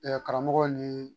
karamɔgɔ nii